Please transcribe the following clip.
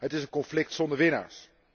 het is een conflict zonder winnaars.